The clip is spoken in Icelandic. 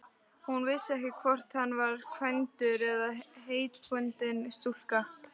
Hún vissi ekki hvort hann var kvæntur eða heitbundinn stúlku.